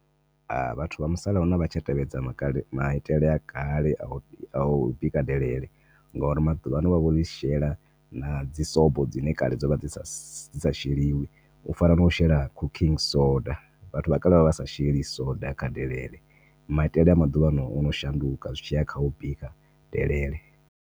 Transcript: A vhathu musalauno a vha tsha tevhedza maitele a kale a u bika delele ngauri maḓuvha ano vha vho ḽi shela na dzi swobo dzine kale dzo vha dzi sa sheliwi u fana no shela cooking soda. Vhathu vha kale vha sa sheli soda kha delele maitele a maḓuvha ano ono shanduka zwi tshiya kha u bika delele.